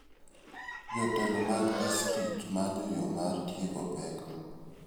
Jotelo mag distrikt manyo yo mar tieko pekno.